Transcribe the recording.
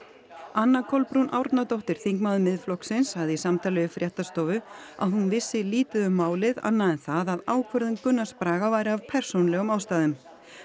anna Kolbrún Árnadóttir þingmaður Miðflokksins sagði í samtali við fréttastofu að hún vissi lítið um málið annað en það að ákvörðun Gunnars Braga væri af persónulegum ástæðum